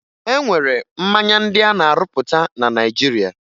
E nwere mmanya ndị a na-arụpụta na Naịjirịa